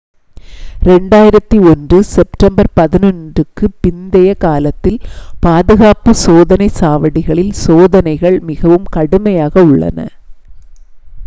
2001 September 11க்குப் பிந்தைய காலத்தில் பாதுகாப்பு சோதனைச் சாவடிகளில் சோதனைகள் மிகவும் கடுமையாக உள்ளன